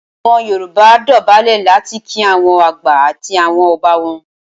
Awon yoruba dubulẹ lati ki awon agba ati awon oba won.